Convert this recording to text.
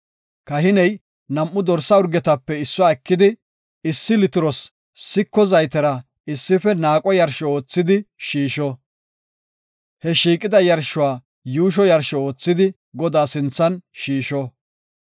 Kahiney nam7u dorsa urgetape issuwa ekidi, issi litiros siko zaytera issife naaqo yarsho oothidi shiisho; he shiiqida yarshuwa yuusho yarsho oothidi Godaa sinthan shiisho.